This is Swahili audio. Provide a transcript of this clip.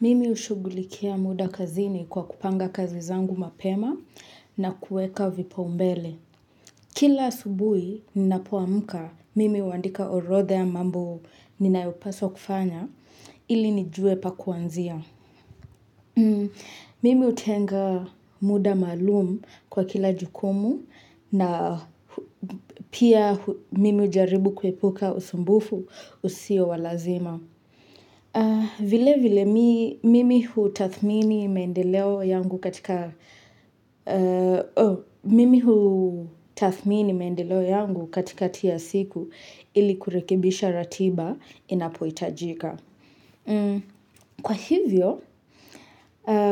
Mimi hushugulikia muda kazini kwa kupanga kazi zangu mapema na kuweka vipaumbele. Kila asubuhi ninapo amka, mimi huandika orodha ya mambo ninayopaswa kufanya ili nijue pa kuanzia. Mimi hutenga muda maalum kwa kila jukumu na pia mimi hujaribu kuepuka usumbufu usio wa lazima. Vilevile mimi hutathmini maendeleo yangu katika tathmini maendeleo yangu katikati ya siku ili kurekebisha ratiba inapohitajika. Kwa hivyo,